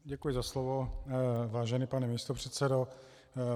Děkuji za slovo, vážený pane místopředsedo.